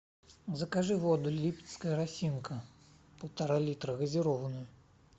закажи воду липецкая росинка полтора литра газированную